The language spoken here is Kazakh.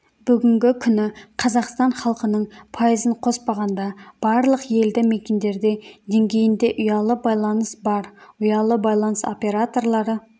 бүгінгі күні қазақстан халқының пайызын қоспағанда барлық елді мекендерде деңгейінде ұялы байланыс бар ұялы байланыс операторлары